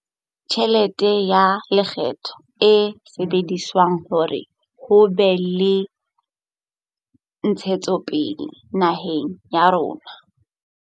Tjhelete ya lekgetho e sebedisetswa hore ho be le ntshetsopele naheng ya rona.